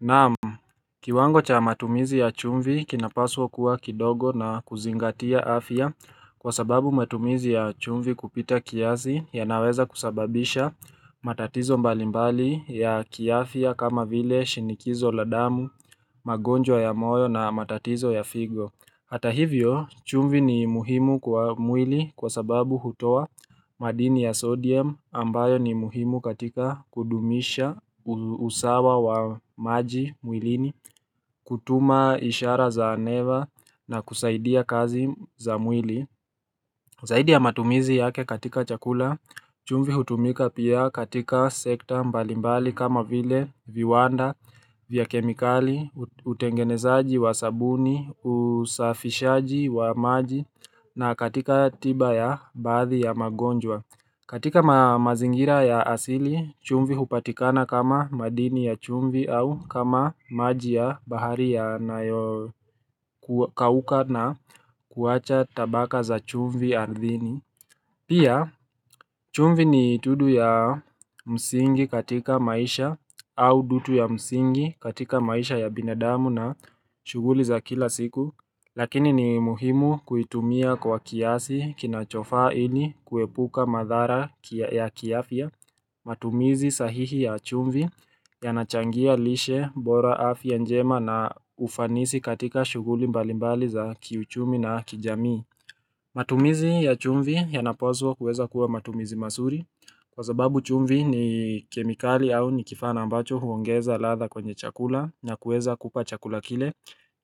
Naamu, kiwango cha matumizi ya chumvi kinapaswa kuwa kidogo na kuzingatia afya kwa sababu matumizi ya chumvi kupita kiasi yanaweza kusababisha matatizo mbalimbali ya kiafya kama vile shinikizo la damu, magonjwa ya moyo na matatizo ya figo Hata hivyo, chumvi ni muhimu kwa mwili kwa sababu hutoa madini ya sodium ambayo ni muhimu katika kudumisha usawa wa maji mwilini, kutuma ishara za aneva na kusaidia kazi za mwili Zaidi ya matumizi yake katika chakula, chumvi hutumika pia katika sekta mbalimbali kama vile viwanda, vya kemikali, utengenezaji wa sabuni, usafishaji wa maji na katika tiba ya baadhi ya magonjwa katika mazingira ya asili, chumvi hupatikana kama madini ya chumvi au kama maji ya bahari yanayo kauka na kuwacha tabaka za chumvi ardhini. Pia, chumvi ni tudu ya msingi katika maisha au dutu ya msingi katika maisha ya binadamu na shuguli za kila siku. Lakini ni muhimu kuitumia kwa kiasi kinachofaa ini kuepuka madhara ya kiafya matumizi sahihi ya chumvi yanachangia lishe bora afya njema na ufanisi katika shuguli mbalimbali za kiuchumi na kijamii matumizi ya chumvi yanapaswa kuweza kuwa matumizi mazuri Kwa sababu chumvi ni kemikali au ni kifaa na ambacho huongeza ladha kwenye chakula na kuweza kupa chakula kile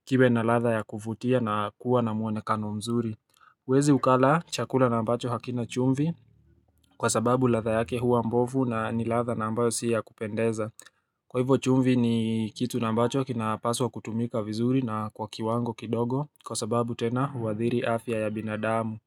kiwe na ladha ya kuvutia na kuwa na mwonekano mzuri. Uwezi ukala chakula na ambacho hakina chumvi kwa sababu ladha yake huwa mbovu na ni ladha na ambayo si ya kupendeza. Kwa hivo chumvi ni kitu na ambacho kinapaswa kutumika vizuri na kwa kiwango kidogo kwa sababu tena huadhiri afya ya binadamu.